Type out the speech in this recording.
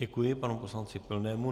Děkuji panu poslanci Pilnému.